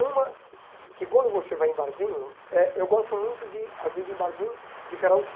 Uma, que quando você vai em barzinho, eh eu gosto muito de, às vezes, de ir em barzinho de karaokê.